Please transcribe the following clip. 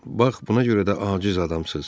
Bax, buna görə də aciz adamsız.